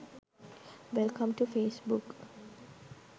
welcome to facebook